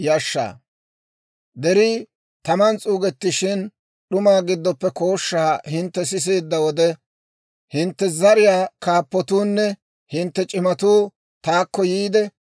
«Derii taman s'uugettishin, d'umaa giddoppe kooshshaa hintte siseedda wode, hintte zariyaa kaappatuunne hintte c'imatuu taakko yiide,